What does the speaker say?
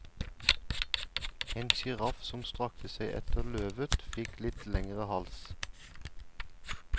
En giraff som strakte seg etter løvet fikk litt lengre hals.